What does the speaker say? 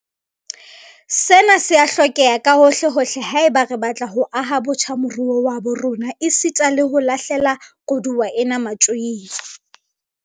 Sena se a hlokeha kahohlehohle haeba re batla ho aha botjha moruo wa habo rona esita le ho lahle la koduwa ena matjoing.